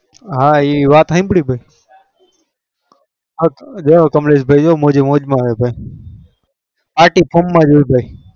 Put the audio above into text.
હા એવાત હાચી કમ્લેસા ભાઈ મોજે મોજ માં હોય palty ફોમાજ હોય